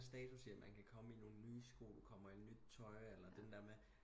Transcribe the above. Status i man kan komme i nogen nye sko kommer i noget nyt tøj eller den der med